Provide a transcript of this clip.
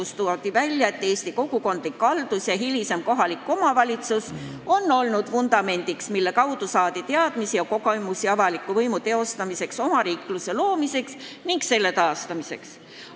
Sel päeval toonitati, et Eesti kogukondlik haldus ja hilisem kohalik omavalitsus on olnud vundament, millele toetudes on saadud teadmisi ja kogemusi avaliku võimu teostamiseks, omariikluse loomiseks ning hiljem selle taastamiseks.